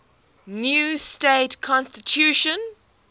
new state constitution